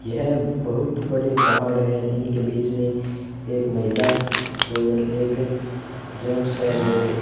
यह बहुत बड़े पहाड़ है इनके बीच में एक महिला और एक जेंट्स है जो --